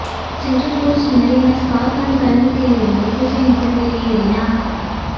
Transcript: Central Coast Mariners காற்பந்து கழகத்தில் இருந்து ஹுசைன் போல்ட் வௌியேறினார்